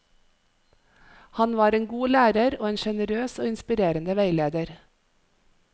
Han var en god lærer og en generøs og inspirerende veileder.